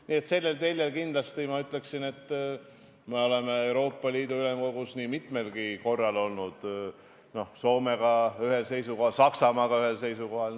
Nii et sellel teljel me oleme Euroopa Liidu Ülemkogus nii mitmelgi korral olnud näiteks Soome ja Saksamaaga ühel seisukohal.